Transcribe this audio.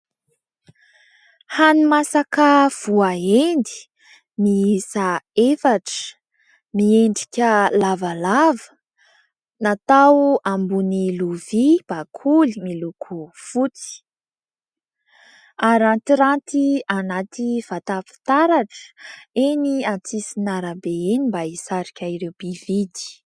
Hani-masaka voahendy miisa efatra, miendrika lavalava, natao ambony lovia bakoly miloko fotsy. Arantiranty anaty vata fitaratra eny an-tsisin'arabe eny mba hisarika ireo mpividy.